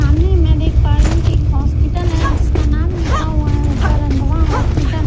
सामने मैं देख पा रही हूं कि एक हॉस्पिटल है जिसका नाम लिखा हुआ हैऊपर अंदवा हॉस्पिटल --